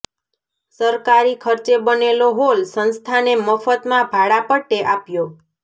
સરકારી ખર્ચે બનેલો હોલ સંસ્થાને મફતમાં ભાડા પટ્ટે આપ્યો